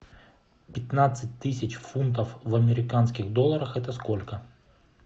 пятнадцать тысяч фунтов в американских долларах это сколько